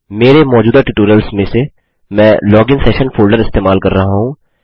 मेरे मौजूदा ट्यूटोरियल्स में से मैं लोगिन सेशन फोल्डर इस्तेमाल कर रहा हूँ